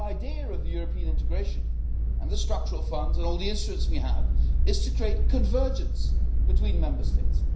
The whole idea of European integration and the structural funds and all the influence we have is to create convergence between Member States.